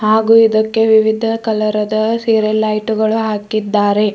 ಹಾಗು ಇದಕ್ಕೆ ವಿವಿಧ ಕಲರ್ ಅದ ಸೀರಿಲ್ ಲೈಟ್ ಗಳು ಹಾಕಿದ್ದಾರೆ.